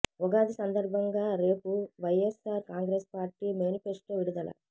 ఉగాది సందర్భంగా రేపు YSR Congress party manifesto విడుదల